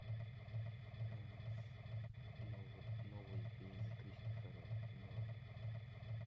новый фильм кристофера нолана